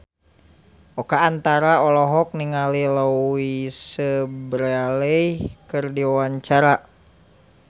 Oka Antara olohok ningali Louise Brealey keur diwawancara